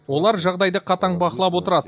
олар жағдайды қатаң бақылап отырады